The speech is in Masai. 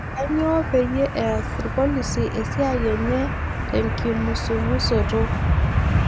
Kanyio peyie eess irpolisi esia enye tenkimusumusoto?